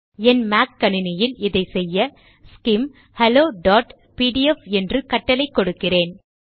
என் Mac கணினியில் இதை செய்ய ஸ்கிம் ஹெலோபிடிஎஃப் என்று கட்டளை கொடுக்கிறேன்